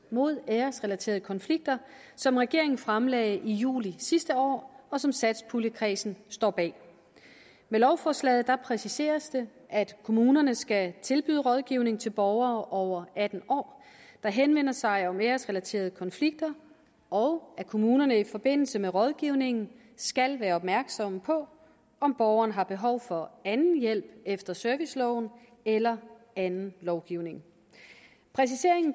mod æresrelaterede konflikter som regeringen fremlagde i juli sidste år og som satspuljekredsen står bag med lovforslaget præciseres det at kommunerne skal tilbyde rådgivning til borgere over atten år der henvender sig om æresrelaterede konflikter og at kommunerne i forbindelse med rådgivningen skal være opmærksomme på om borgeren har behov for anden hjælp efter serviceloven eller anden lovgivning præciseringen